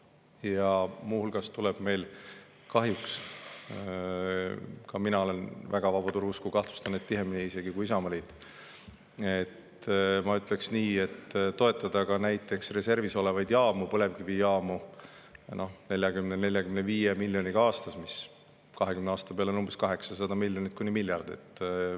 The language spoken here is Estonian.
Ja muu hulgas tuleb meil kahjuks – ka mina olen väga vabaturu usku, kahtlustan, et isegi tihemini kui Isamaa – toetada ka näiteks reservis olevaid põlevkivijaamu 40–45 miljoniga aastas, mis 20 aasta peale on umbes 800 miljonit kuni miljard.